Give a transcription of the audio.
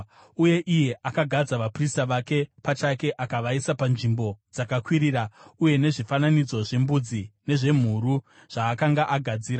Uye iye akagadza vaprista vake pachake akavaisa panzvimbo dzakakwirira uye nezvifananidzo zvembudzi nezvemhuru zvaakanga agadzira.